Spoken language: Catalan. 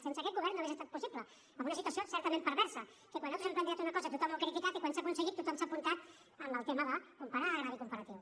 sense aquest govern no hauria estat possible amb una situació certament perversa que quan nosaltres hem plantejat una cosa tothom ho ha criticat i quan s’ha aconseguit tothom s’ha apuntat en el tema de comparar el greuge comparatiu